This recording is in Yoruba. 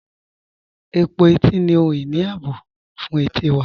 Ẹ̀pọ̀ ètì ni ohun-iní ààbọ̀ fún ètí wà.